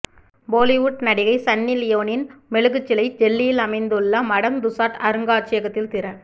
பொலிவுட் நடிகை சன்னி லியோனின் மெழுகுச்சிலை டெல்லியில் அமைந்துள்ள மடம் துசாட் அருங்காட்சியகத்தில் திற